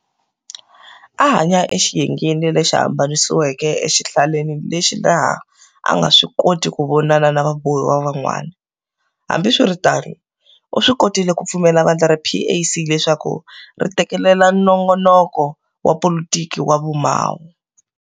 A a hanya exiyengeni lexi hambanisiweke exihlaleni lexi laha a anga swikoti kuvonana na vabohiwa van'wana. Hambi swiritano, u swikotile ku pfumelela vandla ra PAC leswaku ri tekelela nongonoko wa politiki wa vu Mawo.